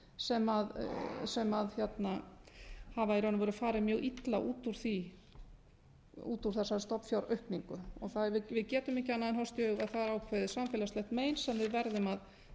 sem hafa í raun og veru farið mjög illa út úr þessari stofnfjáraukningu við getum ekki annað en horfst í augu við að það er ákveðið samfélagslegt mein sem við verðum að